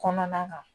Kɔnɔna kan